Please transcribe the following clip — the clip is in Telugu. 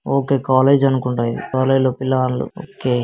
ఓకే ఓకే కాలేజ్ అనుకుంటా ఇది. కాలేజీ లో పిల్లగాండ్లు. కే--